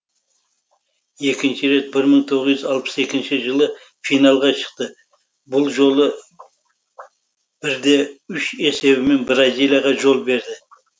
екінші рет бір мың тоғыз жүз алпыс екінші жылы финалға шықты бұл жолы бір де үш есебімен бразилияға жол берді